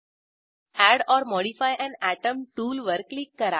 add or modify an atom टूलवर click करा